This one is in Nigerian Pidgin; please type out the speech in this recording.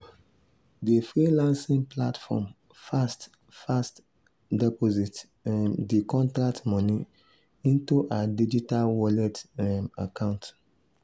di freelancing platform fast-fast deposit um di contract moni into her digital wallet um account.